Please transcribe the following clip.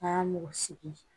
A y'a mɔgɔ sigi